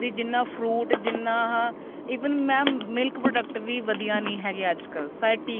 ਜਿੰਨਾ ਉਹ fruit ਜਿੰਨਾ ਆਹ even ਮੈਂ milk product ਵੀ ਵਧੀਆ ਨੀ ਹੈਗੇ ਅੱਜਕਲ ਸਾਰੇ ਟੀਕੇ